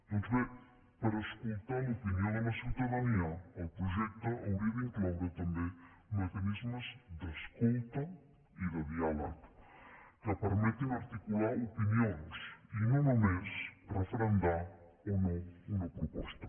doncs bé per escoltar l’opinió de la ciutadania el projecte hauria d’incloure també mecanismes d’escolta i de diàleg que permetin articular opinions i no només referendar o no una proposta